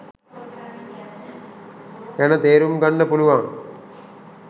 ගැන තේරුම් ගන්න පුලුවන්.